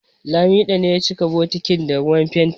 Lamido ne ya cika bokitin da ruwan fenti